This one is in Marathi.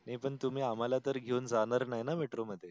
मी तुम्ही आम्हाला तर घेवून जाणार नाही न metro मध्ये.